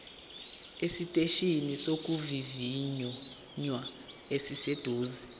esiteshini sokuvivinya esiseduze